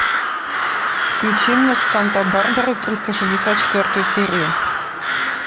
включи мне санта барбара триста шестьдесят четвертую серию